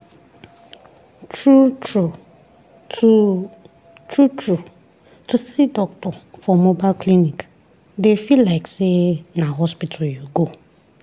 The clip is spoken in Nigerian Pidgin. true true to true true to see doctor for mobile clinic dey feel like say na hospital you go.